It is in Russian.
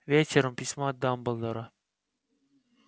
вечером письмо от дамблдора